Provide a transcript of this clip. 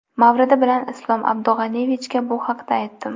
Mavridi bilan Islom Abdug‘aniyevichga bu haqda aytdim.